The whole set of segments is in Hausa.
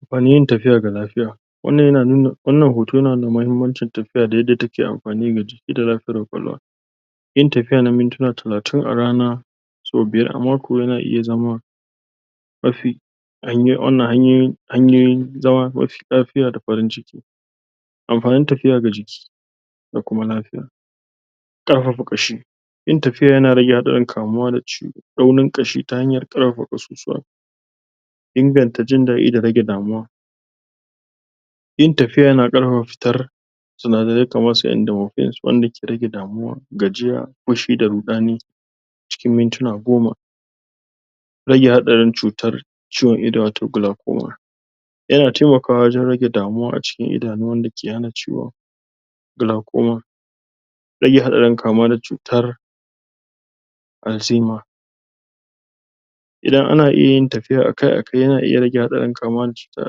Amfanin yin tafiya ga lafiya, wannan yana nuna wannan hoto yana nuna mahimmancin tafiya da yadda take amfani ga jiki da lafiyar ƙwaƙwalwa yin tafiya na mintuna talatin a rana so biyar a mako yana iya zama mafi wannan hanyoyin hanyoyin zama mafi lafiya da farin ciki amfanin tafiya ga jiki da kuma lafiya. Ƙarfafa ƙashi, yin tafiya yana rage hatsarin kamuwa da chuɗaunin kashi ta hanyar ƙarfafa kasusuwa. inganta jindaɗi da rage damuwa yin tafiya yana ƙarfafa fitar cinadarai kamar su endomorphines wanda ke rage damuwa, gajiya, fishi da ruɗani, cikin mintuna goma. Rage hatsarin cutar ciwon ido wato glycoma yana taimakawa wajan rage damuwa a cikin idanu wanda ke hana glycoma. Rage hatsarin kamuwa da cutar alzheimer Idan ana iyayin tafiya akai akai yana iya rage hatsarin kamuwa da cutar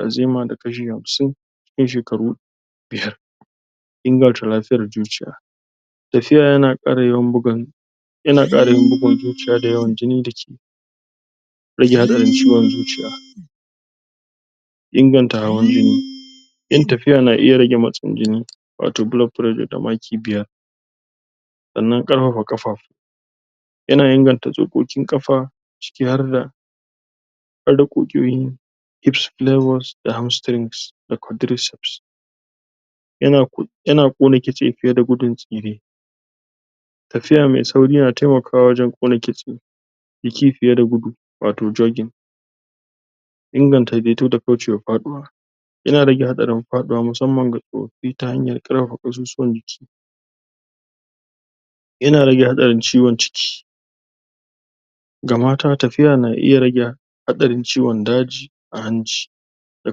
alzheimer da kashi hamsin cikin shekaru biyar. Ingarta lafiyar zuciya, tafiya yana kara yawan bugan yana kara yawan bugun zuciya da yawan jini dake rage hatsarin ciwon zuciya. Inganta hawan jini, yin tafiya yana rage hawan jini wato blood pressure da maki biyar, sannan ƙarfafa kafa, yana inganta tsokoƙin kafa ciki harda harda ƙugiyoyin hips da hamstrings da quadriceps yana yana kona kitse fiye da gudun tsire tafiya mai sauri yana taimakawa gurin ƙone kitse da ci fiye da gudu wato jogging inganta da faɗiwa yana rage hatsarin faɗiwa musamman ga tsofaffi ta hanyar ƙarfafa kasusuwan jiki yana rage hatsarin ciwon ciki ga mata tafiya na iye rage hatsarin ciwon daji a hanci da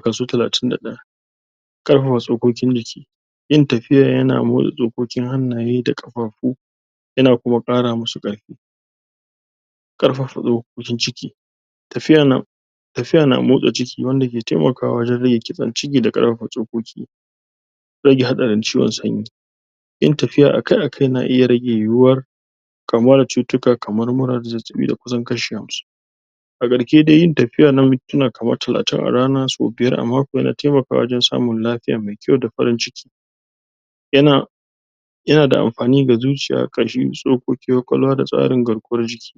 kaso talatin da daya. Ƙarfafa tsukokin jiki, yin tafiya yana motsa tsokoƙin hannaye da kafafu yana kuma ƙara musu karfi karfafatsokoƙin ciki, tafiya na tafiya na motsa ciki wanda ke taimakawa wajan rage kiban ciki da kar fafa tsokoki rage hatsarin ciwon sanyi. Yin tafiya akai akai na rage yiwuwar kamuwa da cututtuka kamar mura da zazzaɓi da kusan kashi hamsinn a garke dai yin tafiya na mintuna kamar talatin a rana so biyar a mako yana taimaka wa wajan samun lafiya mai kyau da farin ciki yana yana amfani ga zuciya, kashi, tsokoki, kwakwalwa da tsarin garkuwan jiki.